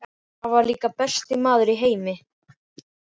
Afi var líka besti maður í heimi.